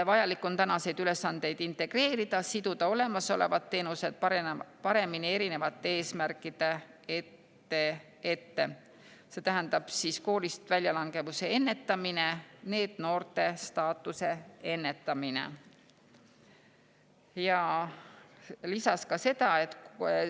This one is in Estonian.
Vajalik on tänaseid ülesandeid integreerida ja siduda olemasolevad teenused paremini erinevate eesmärkidega, mis tähendab koolist väljalangevuse ennetamist ja NEET-noore staatuse ennetamist.